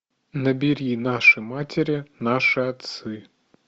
набери наши матери наши отцы